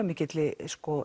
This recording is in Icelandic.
mikilli